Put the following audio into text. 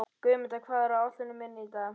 Guðmunda, hvað er á áætluninni minni í dag?